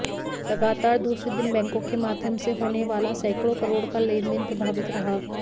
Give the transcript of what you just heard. लगातार दूसरे दिन बैंकों के माध्यम से होने वाला सैकड़ों करोड़ का लेनदेन प्रभावित रहा